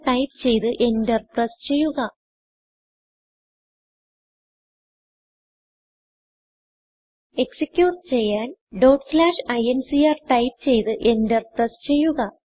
type ചെയ്ത് enter press ചെയ്യുക execute ചെയ്യാൻincrടൈപ്പ് ചെയ്ത് എന്റർ പ്രസ് ചെയ്യുക